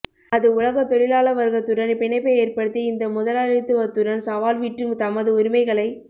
அது உலகதொழிலாளவர்கத்துடன் பிணைப்பை ஏற்படுத்தி இந்தமுதாலித்துவத்துடன் சவால் விட்டு தமது உரிமைகளை